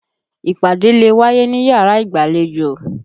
Ìpàdé lè wáyé níyàrá ìgbàlejò.